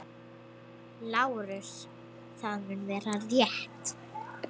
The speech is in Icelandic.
LÁRUS: Það mun vera- rétt.